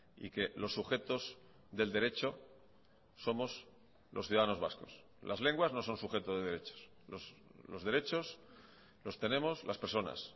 y que los sujetos del derecho somos los ciudadanos vascos las lenguas no son sujeto de derechos los derechos los tenemos las personas